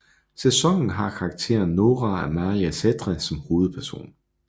Sæsonen har karakteren Noora Amalie Sætre som hovedperson